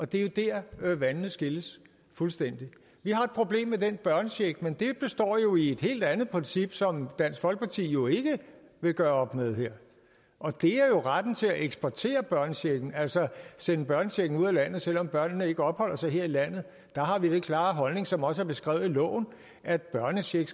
det er jo dér vandene skilles fuldstændig vi har et problem med den børnecheck men det består i et helt andet princip som dansk folkeparti jo ikke vil gøre op med her og det er jo retten til at eksportere børnechecken altså at sende børnechecken ud af landet selv om børnene ikke opholder sig her i landet der har vi den klare holdning som også er beskrevet i loven at børnecheck